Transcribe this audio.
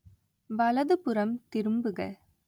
வலதுபுறம் திரும்புக